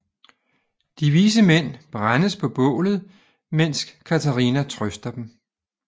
De vise mænd brændes på bålet mens Katarina trøster dem